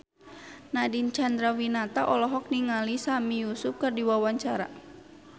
Nadine Chandrawinata olohok ningali Sami Yusuf keur diwawancara